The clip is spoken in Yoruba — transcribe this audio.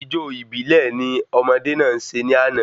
Ijó ìbílè ni ọmọdé náà se ní àná